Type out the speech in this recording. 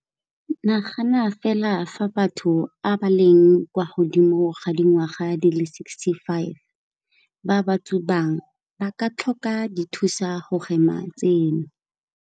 Nagana fela fa batho a ba leng kwa godimo ga dingwaga di le 65 ba ba tsubang ba ka tlhoka dithusa go hema tseno.